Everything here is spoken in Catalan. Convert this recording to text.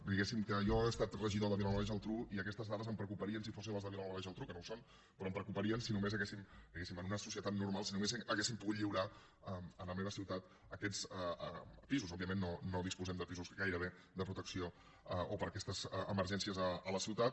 diguéssim que jo he estat regidor a vilanova i la geltrú i aquestes dades em preocuparien si fossin les de vilanova i la geltrú que no ho són però em preocuparien diguéssim en una societat normal si només haguéssim pogut lliurar a la meva ciutat aquests pisos òbviament no disposem de pisos gairebé de protecció o per a aquestes emergències a la ciutat